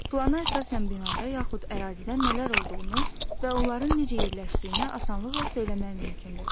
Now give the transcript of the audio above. Plana əsasən binada yaxud ərazidə nələr olduğunu və onların necə yerləşdiyini asanlıqla söyləmək mümkündür.